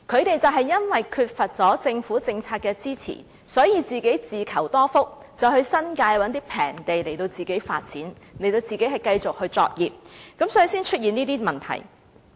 由於缺乏政府政策支持，他們當年便自求多福，到新界尋找便宜的土地發展，繼續作業，所以才會出現今天的問題。